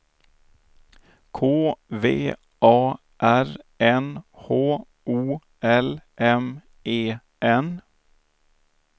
K V A R N H O L M E N